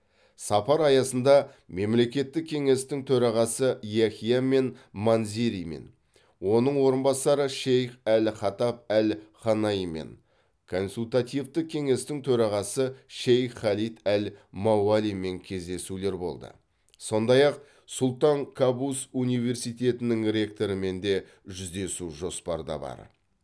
сапар аясында мемлекеттік кеңестің төрағасы яхия мен манзеримен оның орынбасары шейх әл хатаб әл ханаимен консультативтік кеңестің төрағасы шейх халид әл мауалимен кездесулер болды сондай ақ сұлтан кабус университетінің ректорымен де жүздесу жоспарда бар